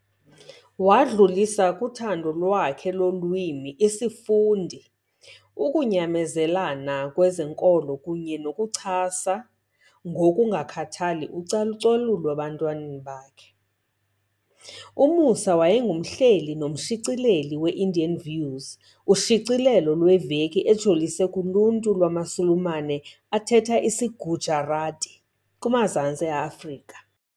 Wadlulisa kuthando lakhe lolwimi, isifundi, ukunyamezelana kwezenkolo kunye nokuchasa ngokungakhathali ucalucalulo ebantwaneni bakhe. U-Moosa wayengumhleli nomshicileli we-Indian Views , ushicilelo lweveki ejolise kuluntu lwamaSulumane athetha isiGujarati kumazantsi e-Afrika.